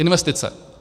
Investice.